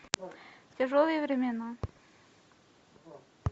тяжелые времена